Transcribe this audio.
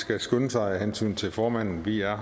skal skynde sig af hensyn til formanden vi er